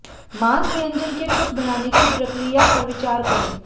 मांस व्यंजन के कुछ बनाने की प्रक्रिया पर विचार करें